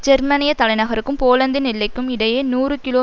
ஜெர்மனியத் தலைநகருக்கும் போலந்தின் எல்லைக்கும் இடையே நூறு கிலோ